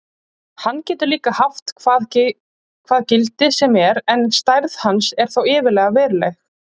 Hann getur líka haft hvað gildi sem er en stærð hans er þó yfirleitt veruleg.